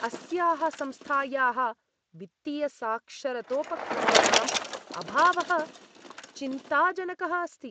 अस्याः संस्थायाः वित्तीयसाक्षरतोपक्रमाणाम् अभावः चिन्ताजनकः अस्ति।